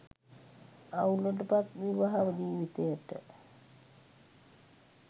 අවුලට පත් විවාහ ජීවිතයට